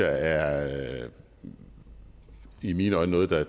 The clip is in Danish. er i mine øjne noget der